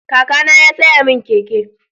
Kakana ya saya min keke.